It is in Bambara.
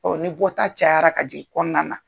ni bɔta cayara ka jigi kɔɔna na